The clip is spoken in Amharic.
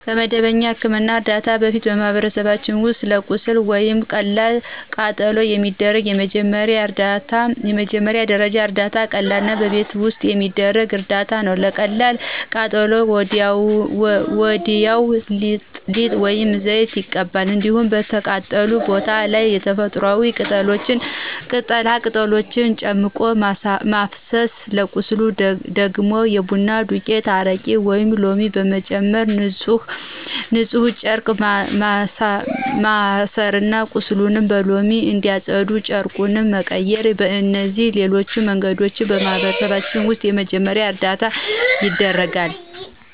ከመደበኛ የሕክምና እርዳታ በፊት በማህበረሰባችን ውስጥ ለቁስል ወይም ለቀላል ቃጠሎ የሚደረግ የመጀመሪያ ደረጃ እርዳታ ቀላልና በቤት ውስጥ የሚደረግ እርዳታ ነው። ለቀላል ቃጠሎ ወዲያው ሊጥ ወይም ዘይት ይቀባል። እንዲሁም በተቃጠለው ቦታ ላይ ተፈጥሮአዊ ቅጠላ ቅጠሎችን ጨምቆ ማፍሰስ፤ ለቁስል ደግሞ የቡና ዱቄት፣ አረቄ ወይም ሎሚ በመጨመር በንፁህ ጨርቅ ማሠርና ቁስሉን በሎሚ እያፀዱ ጨርቁን መቀየር። በእነዚህና በሌሎች መንገዶች በማህበረሰባችን ውስጥ የመጀመሪያ እርዳታ ይደረጋል።